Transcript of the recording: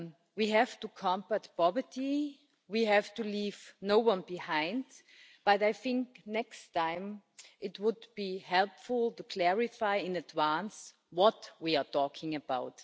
We have to combat poverty, we have to leave no one behind, but I think next time it would be helpful to clarify in advance what we are talking about.